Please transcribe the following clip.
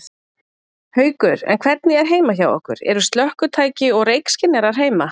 Haukur: En hvernig er heima hjá ykkur, eru slökkvitæki og reykskynjarar heima?